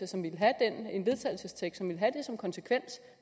som ville have det som konsekvens